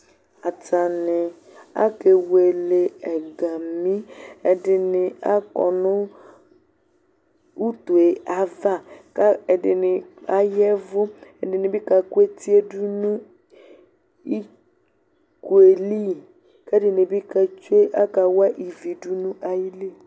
atani akewele ɛgami ɛdini akɔ nʋ utu yɛ ava kʋ ɛdini aya ɛvʋ ɛdini bi kakʋ etidunu iko li kʋ ɛdini bi akawa ivi dʋnʋ ayili